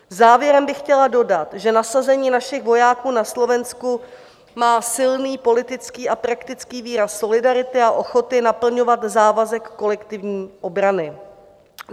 Závěrem bych chtěla dodat, že nasazení našich vojáků na Slovensku má silný politický a praktický výraz solidarity a ochoty naplňovat závazek kolektivní obrany.